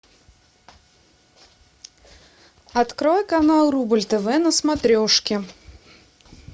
открой канал рубль тв на смотрешке